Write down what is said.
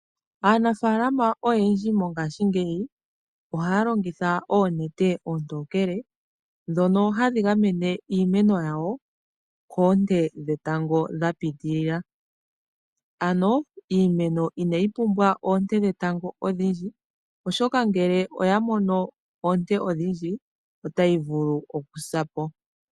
Aanafaalama oyendji mongaashingeyi ohaya longitha oonete oontookele ndhono hadhi gamene iimeno yawo koonte dhetango dha pitilila, ano iimeno ina yi pumbwa oonte dhetango odhindji oshoka ngele oyamono oonte odhindji ota yi vulu okusapo.